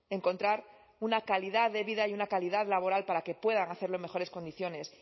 encontrar una calidad de vida y una calidad laboral para que puedan hacerlo en mejores condiciones